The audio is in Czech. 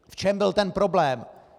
V čem byl ten problém?